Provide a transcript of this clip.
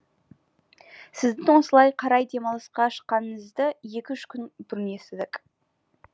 сіздің осылай қарай демалысқа шыққаныңызды екі үш күн бұрын естідік